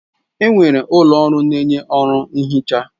Enwere ụlọ ọrụ na-enye ọrụ nhicha.